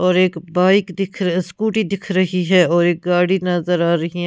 और एक बाइक दिख र स्कूटी दिख रही है और एक गाड़ी नजर आ रही है ।